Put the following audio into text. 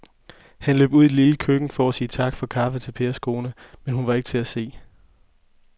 Han løb ud i det lille køkken for at sige tak for kaffe til Pers kone, men hun var ikke til at se.